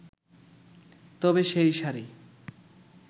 তবে সেই শাড়ি